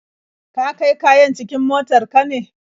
Ka kai kayan cikin motar ka ne?